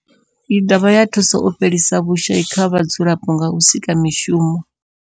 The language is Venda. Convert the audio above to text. I dovha ya thusa u fhelisa vhushayi kha vhadzulapo nga u sika mishumo.